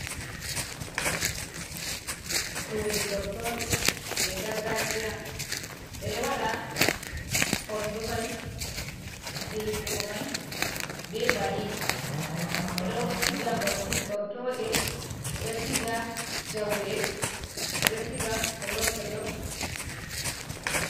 Suɗu gortoɗe je gargajiya. Beɗo waɗa konɗumai je hippugo mai be bali. Beɗo siga gortoɗe. Beɗo siga jaule. Beɗk siga tollo tollo.